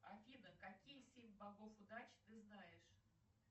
афина какие семь богов удачи ты знаешь